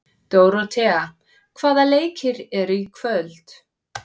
Dóróthea, hvaða leikir eru í kvöld?